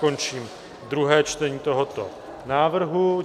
Končím druhé čtení tohoto návrhu.